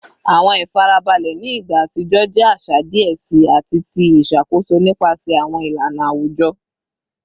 Awọn ifarabalẹ ni igba atijọ jẹ aṣa diẹ sii ati ti iṣakoso nipasẹ awọn ilana awujọ